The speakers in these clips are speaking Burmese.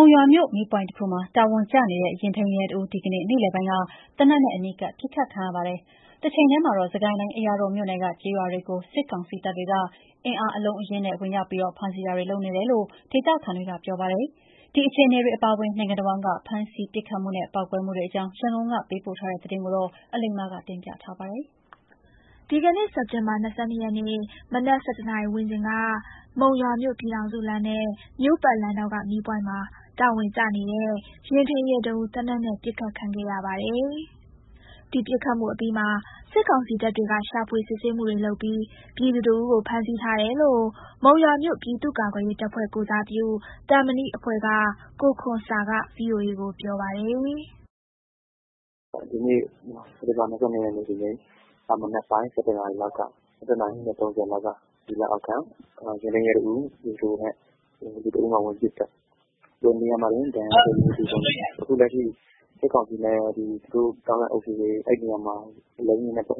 ုံရွာမြို့ မီးပွိုင့်တစ်ခုမှာ တာဝန်ကျနေတဲ့ ယာဉ်ထိန်းရဲတစ်ဦး ဒီကနေ့ နေ့လည်ပိုင်းက သေနက်နဲ့အနီးကပ်ပစ်ခတ်ခံရပါတယ်။ တချိန်တည်းမှာတော့ စစ်ကိုင်းတိုင်း အရာတော်မြို့နယ်က ကျေးရွာတွေကို စစ်ကောင်စီတပ်တွေက အင်အား အလုံးအရင်းနဲ့ ဝင်ရောက်ပြီး ဖမ်းဆီးတာတွေ လုပ်နေတယ်လို့ ဒေသခံတွေကပြောပါတယ်။ ဒီအခြေအနေတွေ အပါအဝင် နိုင်ငံတစ်ဝန်းက ဖမ်းဆီးမှု ပစ်ခတ်မှုနဲ့ ပေါက်ကွဲမှုတွေ အကြောင်း ရန်ကုန်က ပေးပို့ထားတာကို အလိမ္မာပြောပြပါမယ်။ ဒီကနေ့ စက်တင်ဘာ ၂၂ ရက်နေ့ မနက် ၁၁နာရီ ဝန်းကျင်က မုံရွာမြို့ ပြည်ထောင်စုလမ်းနဲ့ မြို့ပတ်လမ်းထောင်က မီးပွိုင့်မှာ တာဝန်ကျနေတဲ့ ယာဉ်ထိန်းရဲ တစ်ဦး သေနတ်နဲ့ ပစ်ခတ်ခံရပါတယ်။ ဒီပစ်ခတ်မှုအပြီးမှာ စစ်ကောင်စီတပ်တွေက ရှာဖွေစစ်ဆေးမှုတွေ လုပ်ပြီး ပြည်သူတစ်ဦးကို ဖမ်းဆီးထားတယ်လို့ မုံရွာမြို့ ပြည်သူ့ကာကွယ်ရေးတပ်ဖွဲ့ ကိုယ်စားပြု သံမဏိအဖွဲ့က ကိုခွန်ဆာက VOA ကို ပြောပါတယ်။ “ဒီနေ့ စက်တင်ဘာ ၂၂ ဒီနေ့၊ မနက်ပိုင်း ၁၁ နာရီခွဲလောက်က စစ်ကောင်စီ လက်အောက်ခံ ယာဉ်ထိန်းရဲ တစ်ဦးကို ပြည်သူတစ်ယောက်က ဝင်ပစ်သတ်သွားတာ၊ နေရာမှာတင် သေဆုံးတယ်။ အခု စစ်ကောင်စီနဲ့ ပတ်သက် ဆက်စပ်တဲ့ အုပ်စုတွေ အဲ့ဒီနေရာမှာ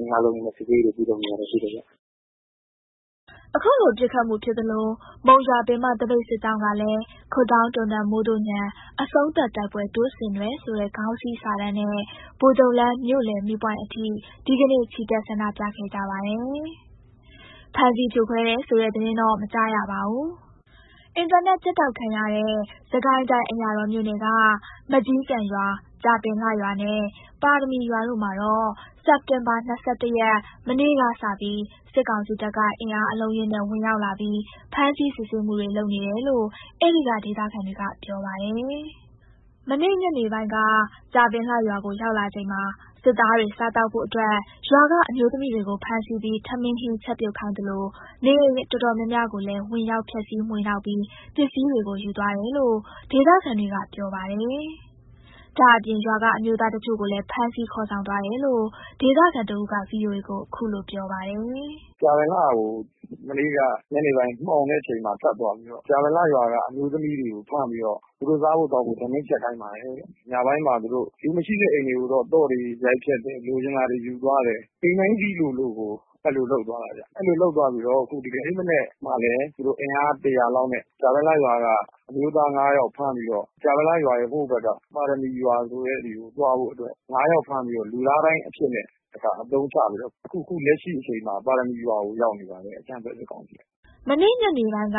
အင်အား အလုံးအရင်းနဲ့ စစ်ဆေးရေး လုပ်နေတာတွေ ရှိတယ်ဗျ။” အခုလိုပစ်ခတ်မှုဖြစ်သလို မုံရွာပင်မ သပိတ်စစ်ကြောင်းကလည်း ‘ခွပ်ဒေါင်းတွန်သံ မိုးသို့ညံ အဆုံးသတ်တိုက်ပွဲ တို့ဆင်နွဲ’ ဆိုတဲ့ ခေါင်းစည်းစာတန်းနဲ့ ဗိုလ်ချုပ်လမ်း မြို့လယ်မီးပွိုင့်အထိ ဒီကနေ့ ချီတက် ဆန္ဒပြခဲ့ကြပါတယ်။ ဖမ်းဆီးဖြိုခွဲတယ်ဆိုတဲ့သတင်းတော့ မကြားရပါဘူး။ အင်တာနက်ဖြတ်တောက်ခံရတဲ့ စစ်ကိုင်းတိုင်း အရာတော်မြို့နယ်က မကျီးကန်ရွာ၊ ကြာပင်လှရွာနှင့် ပါရမီရွာတို့မှာတော့ စက်တင်ဘာ ၂၁ ရက် မနေ့ကစပြီး စစ်ကောင်စီတပ်က အင်အားအလုံးအရင်းနဲ့ ဝင်ရောက်လာပြီး ဖမ်းဆီး စစ်ဆေးမှုတွေ လုပ်နေတယ်လို့ အဲ့ဒီက ဒေသခံတွေက ပြောပြပါတယ်။ မနေ့ညနေပိုင်းက ကြာပင်လှရွာကို ရောက်လာချိန်မှာ စစ်သားတွေ စားသောက်ဖို့အတွက် ရွာကအမျိုးသမီး တွေကို ဖမ်းဆီးပြီး ထမင်းဟင်းချက်ပြုတ်ခိုင်းသလို နေအိမ်အတော်များများ ကိုလည်း ဝင်ရောက်ဖျက်စီး မွှေနှောက်ပြီး ပစ္စည်းတွေကို ယူသွားတယ်လို့ ဒေသခံတွေက ပြောပါတယ်။ ဒါ့အပြင် ရွာကအမျိုးသားတချို့ကိုလည်း ဖမ်းဆီးခေါ်ဆောင်သွားတယ်လို့ ဒေသခံတစ်ဦးက VOA ကို ခုလို ပြောပြပါတယ်။ “ကြာပင်လှကို မနေ့က ညနေပိုင်း မှောင်တဲ့အခါမှာ ထပ်သွားပြီးတော့ ကြာပင်လှရွာက အမျိုးသမီး တွေကို ဖမ်းပြီးတော့ သူတို့ စားဖို့သောက်ဖို့ထမင်းချက်ခိုင်းပါတယ်တဲ့၊ ညပိုင်းမှာ သူတို့ လူမရှိတဲ့ အိမ်တွေကိုတော့ သော့တွေရိုက်ဖျက်တယ် လိုချင်တာတွေယူသွားတယ် အိမ်တိုင်းစေ့လိုလိုကို အဲ့လိုလုပ်သွားတယ်ဗျ၊ အဲ့လိုလုပ်သွားပြီးတော့ အခု ဒီကနေ့မနက်မှာလည်း သူတို့ အင်အား ၁၀၀ လောက်နဲ့ ကြာပင်လှရွာက အမျိုးသား ၅ ယောက်ကို ဖမ်းပြီးတော့ ကြာပင်လှရွာရဲ့ ဟိုဘက်က ပါရမီရွာဆိုတဲ့ဆီကို သွားဖို့အတွက် ၅ယောက်ဖမ်းပြီးတော့ လူသားဒိုင်းအဖြစ်နဲ့ တစ်ခါအသုံးချ ပြီးတော့ အခု အခု လက်ရှိအချိန်မှာ ပါရမီရွာကို ရောက်နေပါတယ် အကြမ်းဖက်စစ်ကောင်စီက။” မနေ့ညနေပိုင်းက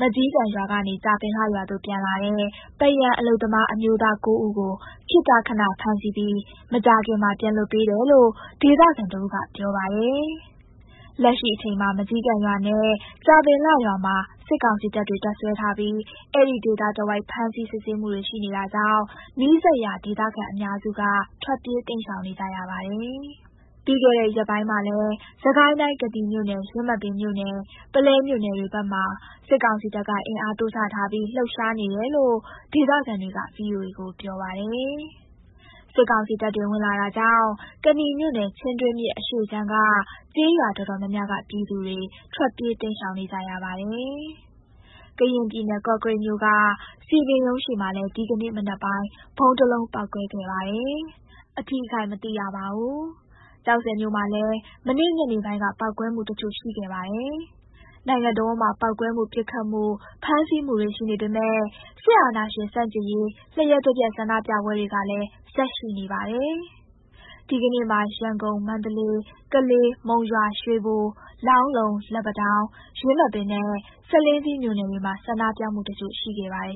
မကျီးကန်ရွာကနေ ကြာပင်လှရွာသို့ ပြန်လာတဲ့ ပန်းရံအလုပ်သမားအမျိုးသား ၉ ဦးကို ခေတ္တခဏ ဖမ်းဆီးပြီး မကြာခင်မှာ ပြန်လွှတ်ပေးတယ်လို့ ဒေသခံတစ်ဦးက ပြောပါတယ်။ လက်ရှိချိန်မှာ မကျီးကန်ရွာနဲ့ ကြာပင်လှရွာမှာ စစ်ကောင်စီတပ်တွေက တပ်စွဲထားပြီး အဲ့ဒီဒေသတစ်ဝိုက် ဖမ်းဆီးစစ်ဆေးမှုတွေ ရှိနေတာကြောင့် နီးစပ်ရာ ဒေသခံအများစုက ထွက်ပြေးတိမ်ရှောင်နေကြရပါတယ်။ ပြီးတဲ့ခဲ့ ရက်ပိုင်းမှာလည်း စစ်ကိုင်းတိုင်း ကနီမြို့နယ်၊ ယင်းမာပင်မြို့နယ်၊ ပုလဲမြို့နယ်တွေဘက်မှာ စစ်ကောင်စီတပ်က အင်အားတိုးချထားပြီး လှုပ်ရှားနေတယ်လို့ ဒေသခံတွေက VOA ကိုပြောပါတယ်။ စစ်ကောင်စီတပ်တွေ ဝင်လာတာကြောင့် ကနီမြို့နယ် ချင်းတွင်းမြစ်အရှေ့ခြမ်းကကျေးရွာတော်တော်များများက ပြည်သူတွေ ထွက်ပြေးတိမ်းရှောင်နေကြရပါတယ်။ ကရင်ပြည်နယ် ကော့ကရိတ်မြို့က စည်ပင်ရုံးရှေ့မှာလည်း ဒီကနေ့ မနက်ပိုင်း ဗုံးတစ်လုံးပေါက်ကွဲခဲ့ပါတယ်။ အထိအခိုက်မသိရပါဘူး။ ကျောက်ဆည်မြို့မှာလည်း မနေ့ညနေပိုင်းက ပေါက်ကွဲမှု တစ်ချို့ ရှိခဲ့ပါတယ်။ နိုင်ငံတစ်ဝန်းမှာ ပေါက်ကွဲမှု ပစ်ခတ်မှု ဖမ်းဆီးမှုတွေ ရှိနေပေမယ့် စစ်အာဏာရှင် ဆန့်ကျင်ရေး လျှပ်တပြတ်ဆန္ဒပြပွဲတွေကလည်း ဆက်ရှိနေပါတယ်။ ဒီကနေ့မှာ ရန်ကုန်၊ မန္တလေး၊ ကလေး၊ မုံရွာ၊ ရွေဘို၊ လောင်းလုံ၊ လက်ပံတောင်း၊ ယင်းမာပင်နဲ့ ဆားလင်းကြီးမြို့နယ်တွေမှာ ဆန္ဒပြမှုတချို့ ရှိခဲ့ပါတယ်